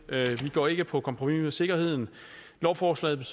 går ikke på kompromis med sikkerheden lovforslaget